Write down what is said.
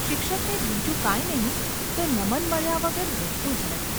શિક્ષકને બીજું કાંઈ નહિ તો નમન મળ્યા વગર રહેતું જ નથી.